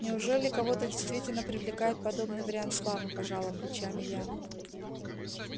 неужели кого-то действительно привлекает подобный вариант славы пожала плечами я